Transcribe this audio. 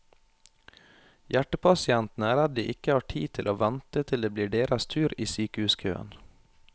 Hjertepasientene er redd de ikke har tid til å vente til det blir deres tur i sykehuskøen.